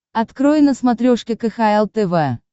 открой на смотрешке кхл тв